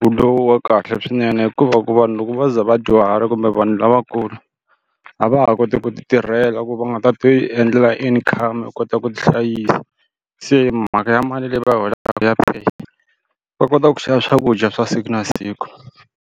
wu lowu wa kahle swinene hikuva ku vanhu loko va ze vadyuhala kumbe vanhu lavakulu a va ha koti ku ti tirhela ku va nga ta ti endlela income ya ku kota ku ti hlayisa se mhaka ya mali leyi va yi holaka ya pay va kota ku xava swakudya swa siku na siku.